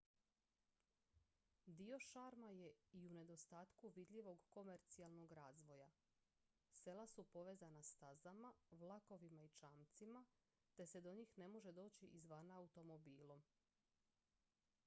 dio šarma je i u nedostatku vidljivog komercijalnog razvoja sela su povezana stazama vlakovima i čamcima te se do njih ne može doći izvana automobilom